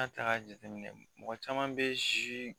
A kan k'a jateminɛ mɔgɔ caman bɛ